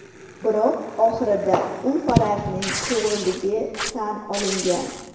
Biroq, oxirida, u farazning to‘g‘riligi tan olingan.